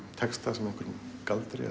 texta sem einhverjum galdri